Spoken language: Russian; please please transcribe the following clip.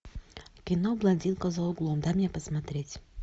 кино блондинка за углом дай мне посмотреть